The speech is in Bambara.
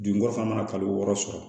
Dunkɔ fana mana kalo wɔɔrɔ sɔrɔ